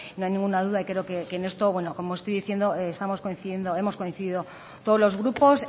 no hay ninguna duda y creo que en esto como estoy diciendo estamos coincidiendo hemos coincidido todos los grupos